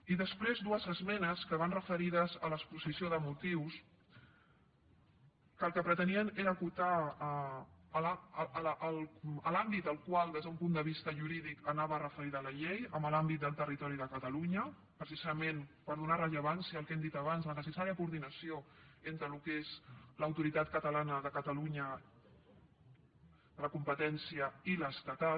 i després dues esmenes que van referides a l’exposició de motius que el que pretenien era acotar l’àmbit al qual des d’un punt de vista jurídic anava referida la llei en l’àmbit del territori de catalunya precisament per donar rellevància al que hem dit abans la necessària coordinació entre el que és l’autoritat catalana de catalunya de la competència i l’estatal